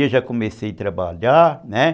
eu já comecei a trabalhar, né?